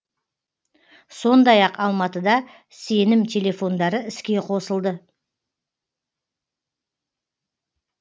сондай ақ алматыда сенім телефондары іске қосылды